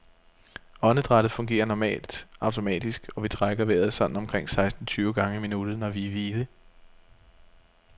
Åndedrættet fungerer normalt automatisk, og vi trækker vejret sådan omkring seksten tyve gange i minuttet, når vi er i hvile.